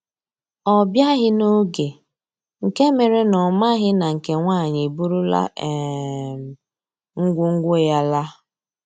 Ọ biaghi n'oge nke mere na ọ maghị na nke nwaanyị eburula um ngwo ngwo ya laa